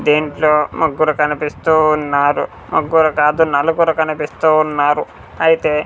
దీంట్లో ముగ్గురు కనిపిస్తూవున్నారు ముగ్గురు కాదు నలుగురు కనిపిస్తూ ఉన్నారు అయితే --